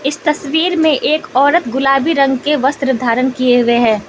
तस्वीर में एक औरत गुलाबी रंग के वस्त्र धारण किए हुए हैं।